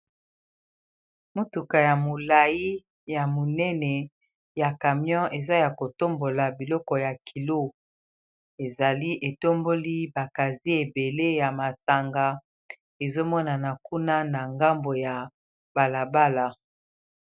Mutuka ya molai ya monene ya camion eza ya ko tombola biloko ya kilo, ezali etomboli ba kazier ebele ya masanga ezo monana kuna na ngambo ya bala bala.